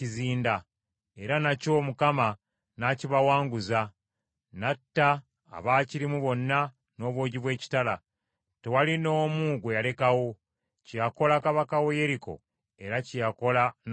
era nakyo Mukama n’akibawanguza, n’atta abaakirimu bonna n’obwogi bw’ekitala, tewali n’omu gwe yalekawo. Kye yakola kabaka we Yeriko era kye yakola n’ow’e Libuna.